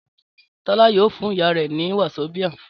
Tọ́lá yóò fún ìyá rẹ ní wasobia